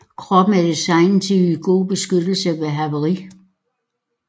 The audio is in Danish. Kroppen er designet til at yde god beskyttelse ved havari